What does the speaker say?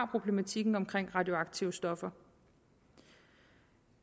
problematikken omkring radioaktive stoffer